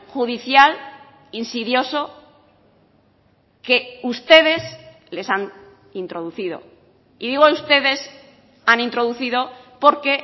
judicial insidioso que ustedes les han introducido y digo ustedes han introducido porque